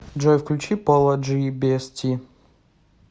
джой включи поло джи биэсти